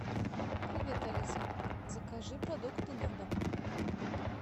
привет алиса закажи продукты на дом